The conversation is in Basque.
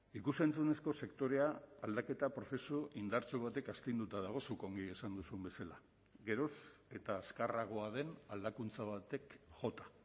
ikus entzunezko sektorea aldaketa prozesu indartsu batek astinduta dago zuk ongi esan duzun bezala geroz eta azkarragoa den aldakuntza batek jota